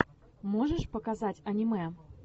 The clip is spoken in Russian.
можешь показать аниме